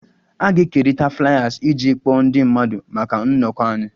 A ga-ekerịta Fliers iji kpọọ ndị mmadụ maka nnọkọ anyị